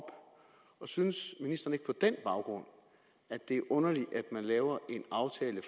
synes ministeren ikke på den baggrund at det er underligt at man laver en aftale